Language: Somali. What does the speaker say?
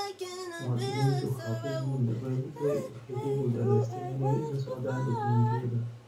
Muwaadiniintu waxay ku guuldareystaan ??inay la socdaan dukumeentiyadooda.